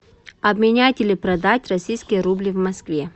обменять или продать российские рубли в москве